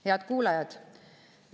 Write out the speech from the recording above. Head kuulajad!